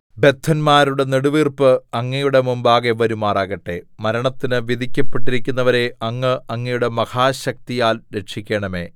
ബദ്ധന്മാരുടെ നെടുവീർപ്പ് അങ്ങയുടെ മുമ്പാകെ വരുമാറാകട്ടെ മരണത്തിന് വിധിക്കപ്പെട്ടിരിക്കുന്നവരെ അങ്ങ് അങ്ങയുടെ മഹാശക്തിയാൽ രക്ഷിക്കണമേ